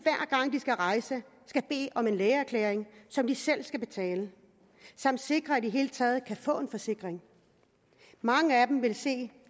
skal rejse skal bede om en lægeerklæring som de selv skal betale samt sikre i det hele taget kan få en forsikring mange af dem vil se